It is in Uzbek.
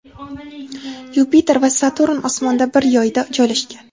Yupiter va Saturn osmonda bir yoyda joylashgan.